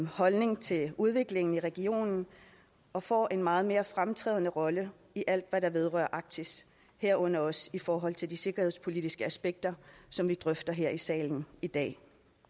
holdning til udviklingen i regionen og får en meget mere fremtrædende rolle i alt hvad der vedrører arktis herunder også i forhold til de sikkerhedspolitiske aspekter som vi drøfter her i salen i dag